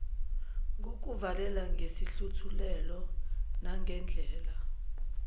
ngokuluvalela ngesihluthulelo nangandlela